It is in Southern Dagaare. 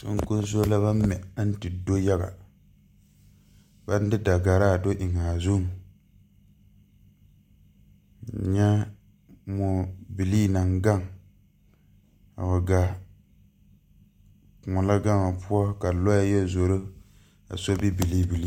Soŋkoŋso la baŋ mɛ aŋ te do yaga baŋ de dagaraa do eŋaa zuŋ nyɛ mɔbilii naŋ gaŋ a wa gaa kòɔ la gaŋ o poɔ ka lɔɛ yɛ zoro a sobi bilii bilii.